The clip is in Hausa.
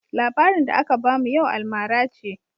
Labarin da aka bamu yau almara ce.